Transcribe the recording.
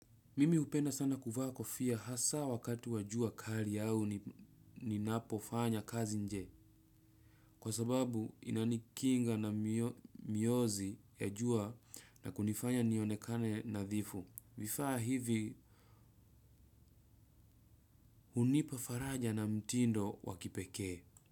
Mimi hupenda sana kuvaa kofia hasa wakati wa jua kali au ninapofanya kazi nje. Kwa sababu inanikinga na miozi ya jua na kunifanya nionekane nadhifu. Vifaa hivi hunipa faraja na mtindo wa kipekee.